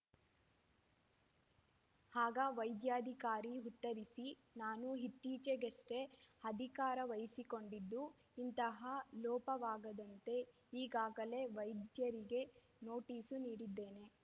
ಆಗ ವೈದ್ಯಾಧಿಕಾರಿ ಉತ್ತರಿಸಿ ನಾನು ಇತ್ತೀಚಿಗಷ್ಟೆಅಧಿಕಾರ ವಹಿಸಿಕೊಂಡಿದ್ದು ಇಂತಹ ಲೋಪವಾಗದಂತೆ ಈಗಾಗಲೆ ವೈದ್ಯರಿಗೆ ನೋಟೀಸು ನೀಡಿದ್ದೇನೆ